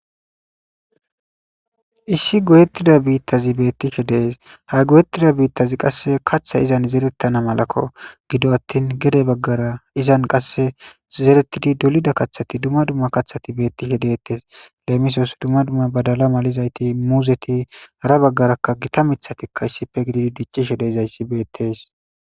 Issi goyettida biittazi beettishe dees ha goyettida biittazi qasse katha izan zerettana malakko gido attin gede baggara izan qasse zerettidi dolida kathati dumma dumma kathati beettishe deettes leemisoos dumma dumma badala malizayti muuzeti ara baggarakka gita mithatikka issife gididi diccishe deizayssi beettes.